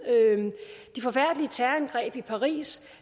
de forfærdelige terrorangreb i paris